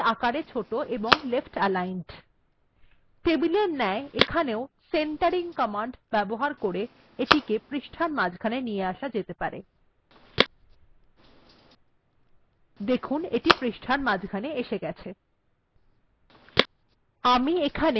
ফিগার্টি আকারে ছোট এবং leftaligned টেবিলএর ন্যায় এখানেও যদি আমরা centering কমান্ড এর ব্যবহার করি তাহলে এটি পৃষ্ঠার মাঝখানে সরে আসবে